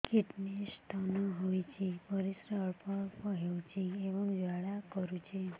kidney stone ହୋଇଛି ପରିସ୍ରା ଅଳ୍ପ ଅଳ୍ପ ହେଉଛି ଏବଂ ଜ୍ୱାଳା କରୁଛି